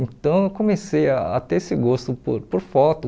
Então eu comecei a ter esse gosto por por foto.